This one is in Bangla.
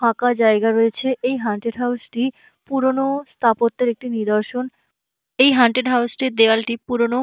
ফাঁকা জায়গা রয়েছে এই হুন্ডটেড হাউস -টি পুরানো স্থাপত্যের একটি নিদর্শন। এই হান্টেড হাউস -টির দেওয়ালটি পুরানো।